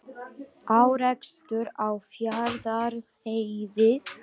Árekstur á Fjarðarheiði